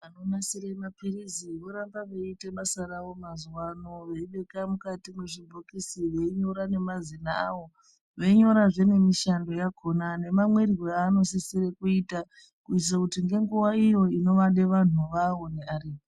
Vanonasire mapirizi voramba veiite basa rawo mazuwano veibeka mukati mwezvibhokisi veinyora nemazina awo veinyorazve nemishando yakona nemamwirwo aanosisire kuita kuitira kuti ngenguva iyo inovade vanhu vavo anenge aripo